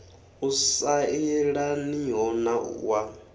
u sa yelaniho na wa